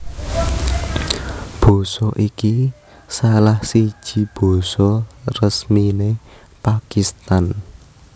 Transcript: Basa iki salah siji basa resminé Pakistan